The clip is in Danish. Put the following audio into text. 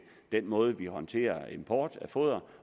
den måde vi håndterer import af foder